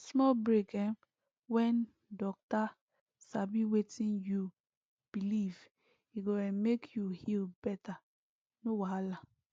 small break um when docta sabi wetin you believe e go um make you heal better no wahala